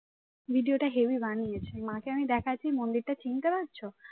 video টা heavy বানিয়েছিল মাকে আমি দেখাচ্ছি মন্দিরটা চিনতে পারছো